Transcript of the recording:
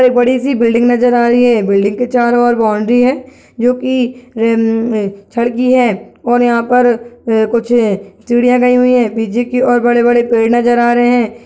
एक बड़ी-सी बिल्डिंग नजर आ रही है बिल्डिंग के चारों ओर बाउंड्री है जो कि रे म छड़ की है और यहाँ पर य कुछ अ चिड़ियाँ गई हुई हैं पीछे की ओर बड़े-बड़े पेड़ नजर आ रहे हैं।